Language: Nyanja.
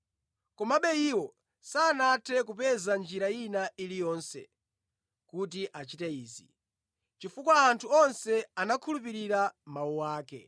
Komabe iwo sanathe kupeza njira ina iliyonse kuti achite izi, chifukwa anthu onse anakhulupirira mawu ake.